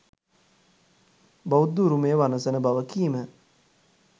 බෞද්ධ උරුමය වනසන බව කීම